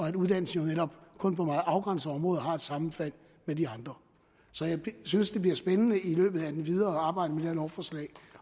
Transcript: at uddannelsen jo netop kun på meget afgrænsede områder har et sammenfald med de andre så jeg synes det bliver spændende i det videre arbejde med det her lovforslag